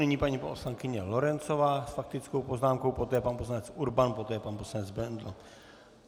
Nyní paní poslankyně Lorencová s faktickou poznámkou, poté pan poslanec Urban, poté pan poslanec Bendl.